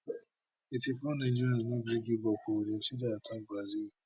eighty four nigeria no gree give up o dem still dey attack brazil